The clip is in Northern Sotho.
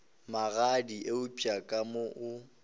magadi eupša ka mo o